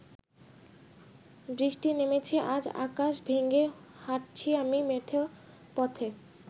বৃষ্টি নেমেছে আজ আকাশ ভেঙ্গে হাটছি আমি মেঠো পথে